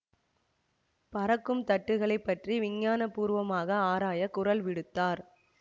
பறக்கும் தட்டுகளை பற்றி விஞ்ஞான பூர்வமாக ஆராய குரல் விடுத்தார்